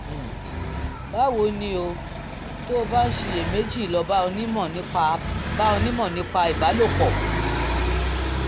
báwo ni o? tó o bá ń ṣiyèméjì lọ bá onímọ̀ nípa bá onímọ̀ nípa ìbálòpọ̀